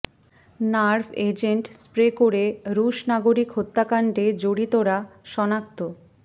nerve agent spray করে রুশ নাগরিক হত্যাকাণ্ডে জড়িতরা শনাক্ত